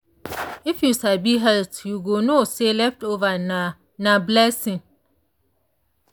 if you sabi health you go know say leftover na na blessing.